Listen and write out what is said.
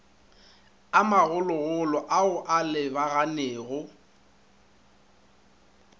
a magologolo ao a lebaganego